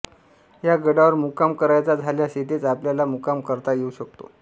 या गडावर मुक्काम करायचा झाल्यास येथेच आपल्याला मुक्काम करता येऊ शकतो